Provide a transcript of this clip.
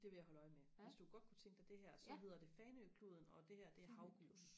det vil jeg holde øje med hvis du godt kunne tænke dig det her så hedder det Fanø kluden og det her det er havgus